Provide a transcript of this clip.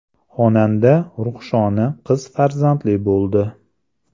Xonanda Ruhshona qiz farzandli bo‘ldi.